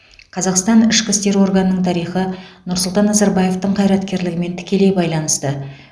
қазақстан ішкі істер органының тарихы нұрсұлтан назарбаевтың қайраткерлігімен тікелей байланысты